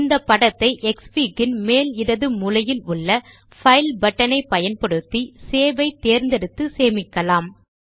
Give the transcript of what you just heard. இந்த படத்தை க்ஸ்ஃபிக் இன் மேல் இடது மூலையிலுள்ள பைல் பட்டன் ஐ பயன்படுத் தி சேவ் ஐ தேர்ந்தெடுத்து சேமிக்கலாம்